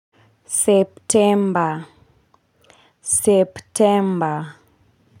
September september.